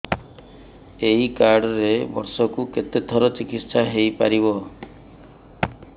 ଏଇ କାର୍ଡ ରେ ବର୍ଷକୁ କେତେ ଥର ଚିକିତ୍ସା ହେଇପାରିବ